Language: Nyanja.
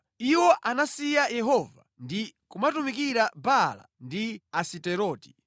Iwo anasiya Yehova ndi kumatumikira Baala ndi Asiteroti.